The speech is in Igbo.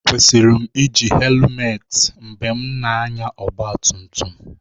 Ekwesịrị m iji hèlumeti mgbe m na-anya ọgba tum tum